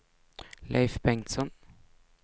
Leif Bengtsson